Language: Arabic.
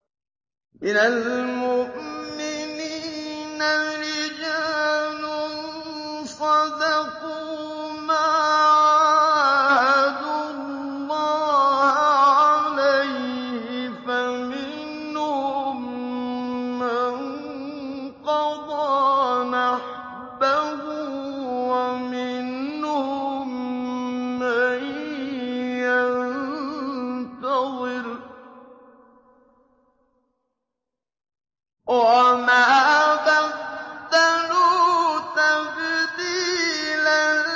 مِّنَ الْمُؤْمِنِينَ رِجَالٌ صَدَقُوا مَا عَاهَدُوا اللَّهَ عَلَيْهِ ۖ فَمِنْهُم مَّن قَضَىٰ نَحْبَهُ وَمِنْهُم مَّن يَنتَظِرُ ۖ وَمَا بَدَّلُوا تَبْدِيلًا